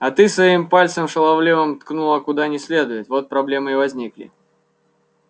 а ты своим пальцем шаловливым ткнула куда не следует вот проблемы и возникли